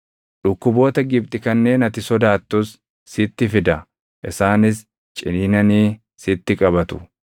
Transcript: Dhukkuboota Gibxi kanneen ati sodaattus sitti fida; isaanis ciniinanii sitti qabatu.